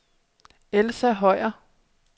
Elsa Høyer